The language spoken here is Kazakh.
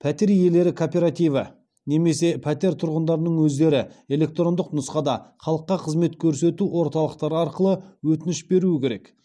пәтер иелері кооперативі немесе пәтер тұрғындарының өздері электрондық нұсқада халыққа қызмет көрсету орталықтары арқылы өтініш беруі керек